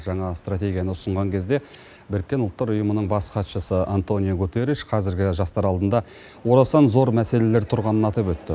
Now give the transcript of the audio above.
жаңа стратегияны ұсынған кезде біріккен ұлттар ұйымының бас хатшысы антониу гутерриш қазіргі жастар алдында орасан зор мәселелер тұрғанын атап өтті